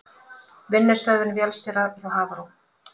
Vinnustöðvun vélstjóra hjá Hafró